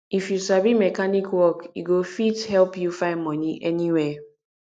if you sabi mechanic work e go fit help you find money anywhere